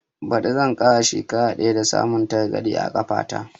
Ɓadi zan kai shekara ɗaya da samun targaɗe a kafa ta